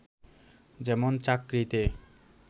যেমন চাকরিতে